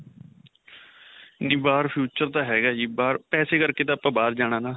ਵੀ ਬਾਹਰ future ਤਾਂ ਹੈਗਾ ਜੀ. ਬਾਹਰ ਪੈਸੇ ਕਰਕੇ ਤਾਂ ਆਪਾਂ ਬਾਹਰ ਜਾਣਾ ਨਾ.